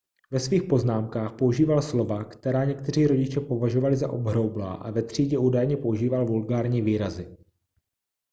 ve svých poznámkách používal slova která někteří rodiče považovali za obhroublá a ve třídě údajně používal vulgární výrazy